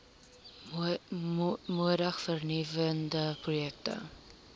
moedig vernuwende projekte